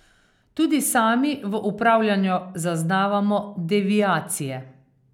Tudi sami v upravljanju zaznavamo deviacije.